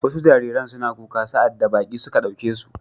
Wasu jariran suna kuka sa'ad da baƙi suka ɗauke su.